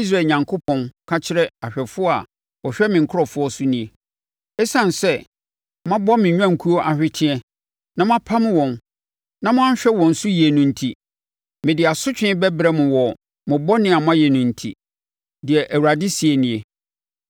Israel Onyankopɔn, ka kyerɛ ahwɛfoɔ a wɔhwɛ me nkurɔfoɔ so nie: “Esiane sɛ, moabɔ me nnwankuo ahweteɛ, na moapam wɔn na moanhwɛ wɔn so yie no enti, mede asotwe bɛbrɛ mo wɔ mo bɔne a moayɛ no nti,” deɛ Awurade seɛ nie.